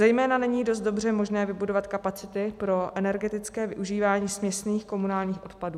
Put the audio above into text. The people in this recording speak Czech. Zejména není dost dobře možné vybudovat kapacity pro energetické využívání směsných komunálních odpadů.